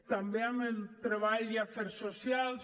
també amb el treball i afers socials